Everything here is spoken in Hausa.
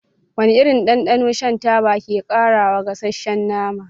Wane irin dandano shan taba ke ƙarawa gasasshen nama?